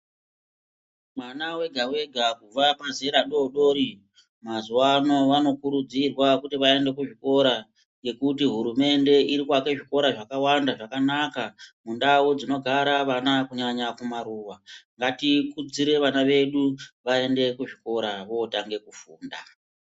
Mwana wega-wega kubva kumuzera mudodori mazuva ano vanokurudzirwa kuti vaende kuzvikora. Ngekuti hurumende iri kuaka zvikora zvakawanda zvakanaka mundau dzinogara vana kunyanya kumaruva. Ngati kudzire vana vedu vaende kuzvikora votange kufunda.